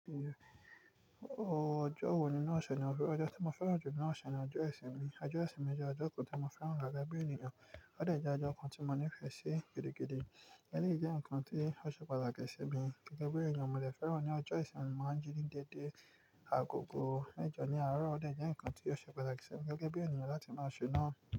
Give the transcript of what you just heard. Ojọ́ wo ninú ọ̀ṣẹ̀ ni ó fẹ́ran? Ọjọ́ tí mo fẹ́ran ju ninú ọ̀ṣẹ̀ ni ọjọ́ ìsinmi. Ojo ìsinmi jẹ́ ọjọ́ kan ti mo fẹ́ran gege bí ènìyàn. Ó de jẹ́ ọjọ́ kan tí mo ní ìfẹ́ ṣe gidigidi eleyí jẹ́ ǹkan tí ó ṣe pataki simí gẹ́gẹ́ bí ènìyàn. Mo dè fẹ́ran ní ọjọ́ ìsinmi mo máa ń jí ní dédé àgogò mẹjọ́ ní àárọ̀ o de jẹ́ ǹkan tí ó ṣe pataki si mí gẹ́gẹ́ bí ènìyàn láti má ṣẹ̀ náà.